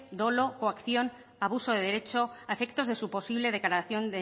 dolo coacción abuso de derecho a efectos de su posible declaración